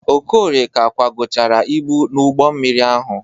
Okorie ka kwagochara ibu n'ụgbọ mmiri ahụ.